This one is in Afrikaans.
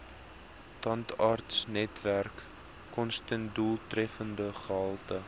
tandartsnetwerk kostedoeltreffende gehalte